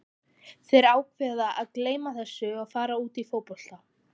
Þeir ákveða að gleyma þessu og fara út í fótbolta.